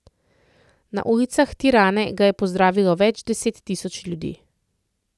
Na ulicah Tirane ga je pozdravilo več deset tisoč ljudi.